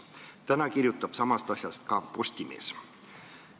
Täna kirjutab samast asjast ka Postimees.